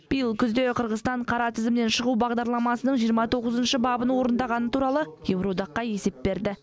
биыл күзде қырғызстан қара тізімнен шығу бағдарламасының жиырма тоғызыншы бабын орындағаны туралы еуроодаққа есеп берді